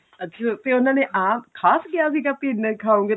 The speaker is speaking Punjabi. ਅੱਛਾ ਤੇ ਉਹਨਾ ਨੇ ਆਪ ਖਾਸ ਕਿਹਾ ਸੀਗਾ ਵੀ ਇੰਨਾ ਖਾਉਗੇ ਤੇ